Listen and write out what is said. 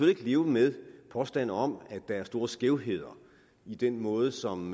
ikke leve med påstande om at der er store skævheder i den måde som